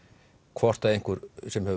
hvort að einhver sem hefur